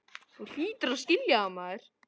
Þú hlýtur að skilja það.